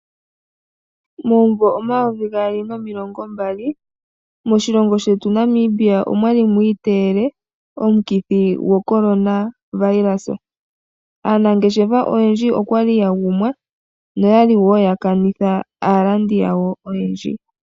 Momuvo 2020 moshilongo shetu Namibia omwali mwiiteyele omukithi goCorona Virus. Aanangeshefa oyendji okwali yagumwa na okwali yakanitha aalandi yawo oyendji.